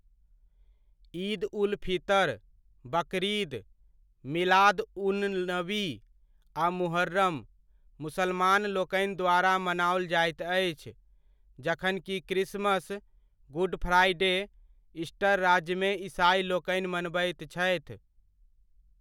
ईद उल फितर, बकरीद, मिलाद उन नबी आ मुहर्रम मुसलमानलोकनि द्वारा मनाओल जाइत अछि, जखन कि क्रिसमस, गुड फ्राइडे, ईस्टर राज्यमे ईसाइलोकनि मनबैत छथि।